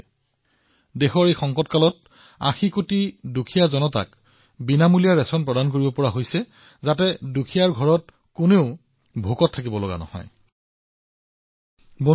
আজি এই সংকটত ৮০ কোটি দৰিদ্ৰ লোকক বিনামূলীয়া ৰেচন প্ৰদান কৰা হৈছে যাতে দৰিদ্ৰ লোকসকলৰ ওচৰত এনে এটা দিন নাহক যিদিনা তেওঁলোকৰ পাকঘৰত জুহালত জুই নজ্বলক